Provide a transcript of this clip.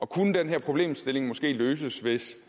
kunne den her problemstilling måske løses hvis